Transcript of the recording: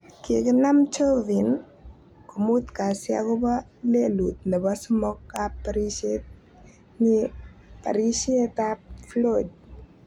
Kikinam Chauvin ko mut kasi aopo lelut nepo somok ap parishet ing parishet ap Floyd.